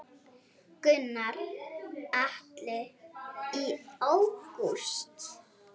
Gunnar Atli: Í ágúst?